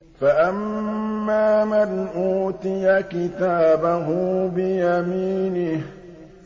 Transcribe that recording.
فَأَمَّا مَنْ أُوتِيَ كِتَابَهُ بِيَمِينِهِ